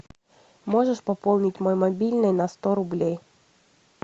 можешь пополнить мой мобильный на сто рублей